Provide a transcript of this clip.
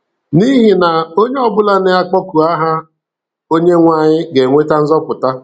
N'ihi na, onye ọbụla nke na-akpọku aha Onyenwe anyị ga-enweta nzọpụta.